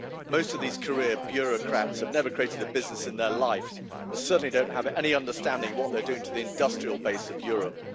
Most of these career bureaucrats have never created a business in their life, and certainly don't have any understanding of what they're doing to the industrial base of Europe.